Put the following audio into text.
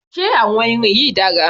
Ṣé àwọn irin yìí dára?